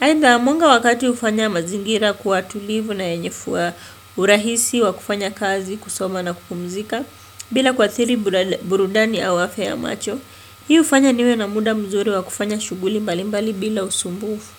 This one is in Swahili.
Aidha mwanga wa kati hufanya mazingira kuwa tulivu na yenye fwa urahisi, wa kufanya kazi, kusoma na kupumzika, bila kuathiri burudani au afya ya macho. Hii hufanya niwe na muda mzuri wa kufanya shughuli mbali mbali bila usumbufu.